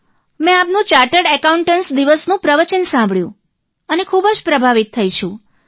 મેં આપનું chartered accountants દિવસનું પ્રવચન સાંભળ્યું અને ખૂબ પ્રભાવિત થઇ છું